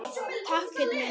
Takk, Pétur minn.